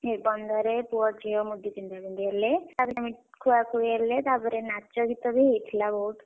ନିର୍ବନ୍ଧରେ ପୁଅ ଝିଅ ମୁଦି ପିନ୍ଧାପିନ୍ଧି ହେଲେ ତାପରେ ମିଠା ଖୁଆଖୁଇ ହେଲେ ତାପରେ ନାଚ ଗୀତ ବି ହେଇଥିଲା ବହୁତ୍।